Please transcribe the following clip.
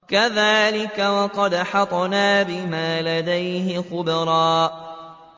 كَذَٰلِكَ وَقَدْ أَحَطْنَا بِمَا لَدَيْهِ خُبْرًا